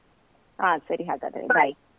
ಹಾ ಸರಿ ಹಾಗಾದ್ರೆ, .